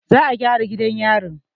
Za a gyara gidan yarin.